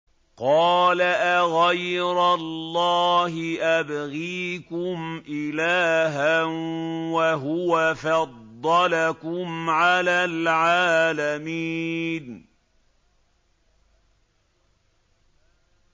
قَالَ أَغَيْرَ اللَّهِ أَبْغِيكُمْ إِلَٰهًا وَهُوَ فَضَّلَكُمْ عَلَى الْعَالَمِينَ